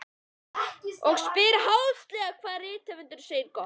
Og spyr háðslega hvað rithöfundurinn segi gott.